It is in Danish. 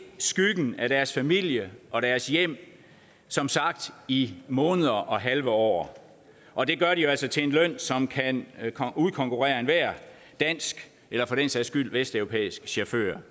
skyggen af deres familie og deres hjem som sagt i måneder og halve år og det gør de jo altså til en løn som kan udkonkurrere enhver dansk eller for den sags skyld vesteuropæisk chauffør